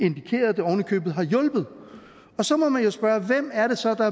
købet har hjulpet så må man jo spørge hvem er det så der